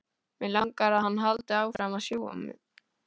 Mig langar að hann haldi áfram að sjúga mig.